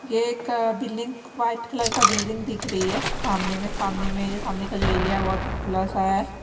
ये एक building white colour का बिल्डिंग दिख रही है सामने में सामने में सामने का जो एरिया है बहुत ही खुला सा है।